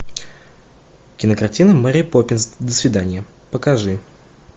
кинокартина мэри поппинс до свидания покажи